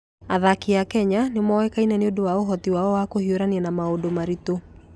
Athaki a Kenya nĩ moĩkaine nĩ ũndũ wa ũhoti wao wa kũhiũrania na maũndũ maritũ.